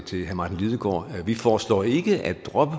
til herre martin lidegaard vi foreslår ikke at droppe